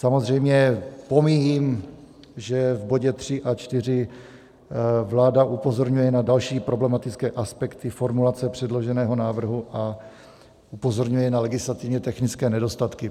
Samozřejmě pomíjím, že v bodě 3 a 4 vláda upozorňuje na další problematické aspekty formulace předloženého návrhu a upozorňuje na legislativně technické nedostatky.